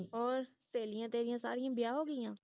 ਹੋਰ ਸਹੇਲੀਆਂ ਤੇਰੀਆਂ ਸਾਰੀਆਂ ਵਿਆਹ ਹੋ ਗਿਆ